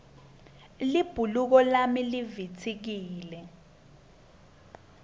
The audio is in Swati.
libhuluko lami livitsikile